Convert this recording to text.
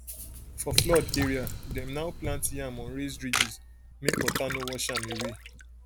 for flood area dem now plant yam on raised ridges make water no wash am away